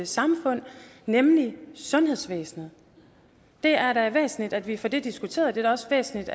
samfund nemlig sundhedsvæsenet det er da væsentligt at vi får det diskuteret og det er også væsentligt